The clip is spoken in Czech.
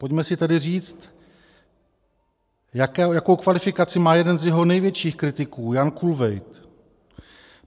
Pojďme si tedy říct, jakou kvalifikaci má jeden z jeho největších kritiků, Jan Kulvejt.